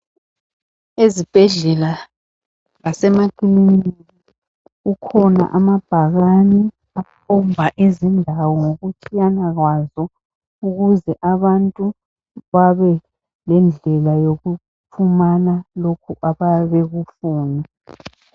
Esibhedlela lasemakininika kukhona amabhakane akhomba izindawo ngokutshiyana kwazo ukuze abantu babelendlela yokufumana lokhu abayabebekufuna.